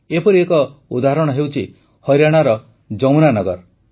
ଏପରି ଏକ ଉଦାହରଣ ହେଉଛି ହରିୟାଣାର ଯମୁନାନଗର